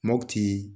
Makkuti